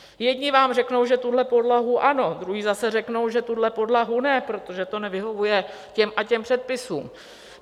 Jedni vám řeknou, že tuhle podlahu ano, druzí zase řeknou, že tuhle podlahu ne, protože to nevyhovuje těm a těm předpisům.